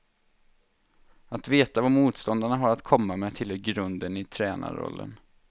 Att veta vad motståndarna har att komma med tillhör grunden i tränarrollen.